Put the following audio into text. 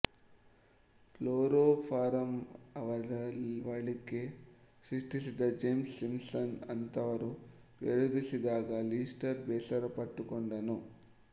ಕ್ಲೋರೋಫಾರಂಅರವಳಿಕೆ ಸೃಷ್ಟಿಸಿದ James Simpson ಅಂಥವರೂ ವಿರೋಧಿಸಿದಾಗ ಲಿಸ್ಟರ್ ಬೇಸರಪಟ್ಟುಕೊಂಡನು